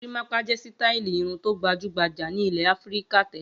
Gorímápá jẹ́ sítáálì irun tó gbajú-gbajà ní ilẹ̀ Áfíríkà tẹ́lẹ̀.